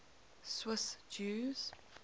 swiss jews